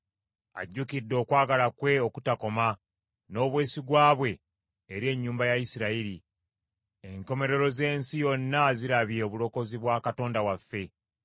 Ajjukidde okwagala kwe okutakoma n’obwesigwa bwe eri ennyumba ya Isirayiri. Enkomerero z’ensi yonna zirabye obulokozi bwa Katonda waffe.